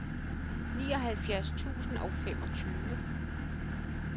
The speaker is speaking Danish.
nioghalvfjerds tusind og femogtyve